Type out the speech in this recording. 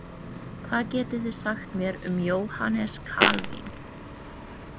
Hvað getið þið sagt mér um Jóhanes Kalvín?